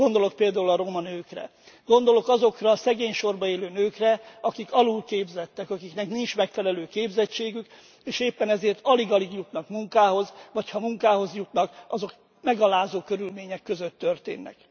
Gondolok például a roma nőkre, gondolok azokra a szegény sorban élő nőkre, akik alulképzettek, akiknek nincs megfelelő képzettségük, és éppen ezért alig alig jutnak munkához, vagy ha munkához jutnak, azok megalázó körülmények között történnek.